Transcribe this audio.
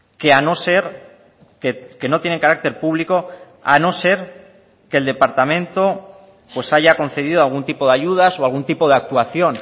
que a no ser que no tienen carácter público a no ser que el departamento pues haya concedido algún tipo de ayudas o algún tipo de actuación